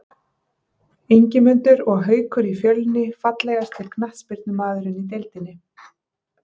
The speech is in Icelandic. Ingimundur og Haukur í Fjölni Fallegasti knattspyrnumaðurinn í deildinni?